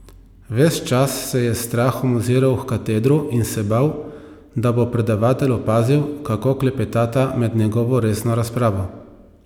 Ves čas se je s strahom oziral h katedru in se bal, da bo predavatelj opazil, kako klepetata med njegovo resno razpravo.